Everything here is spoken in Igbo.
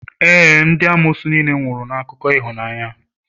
ee, ndị amoosu niile nwụrụ na akụkọ ịhụnanya